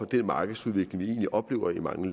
den markedsudvikling vi oplever i mange